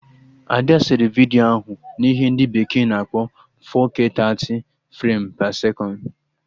Ada sere vidiyo ahụ na ihe ndị bekee na-akpọ 4K 30 frem pe sekọnd